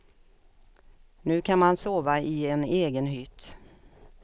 Nu kan man sova i en egen hytt.